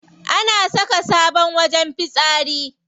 An saka sabon wajen fitsari.